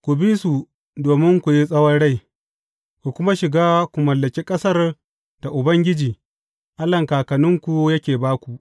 Ku bi su domin ku yi tsawon rai, ku kuma shiga ku mallaki ƙasar da Ubangiji, Allahn kakanninku yake ba ku.